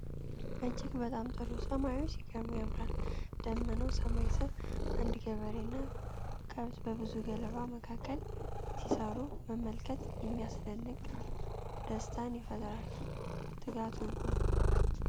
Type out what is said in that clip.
እጅግ በጣም ጥሩ! ሰማዩ ሲገርም ያምራል፤ ደመናማ ሰማይ ስር፣ አንድ ገበሬ እና ከብት በብዙ ገለባ መካከል ሲሰሩ መመልከት የሚያስደንቅ ደስታን ይፈጥራል። ትጋት ውብ ነው!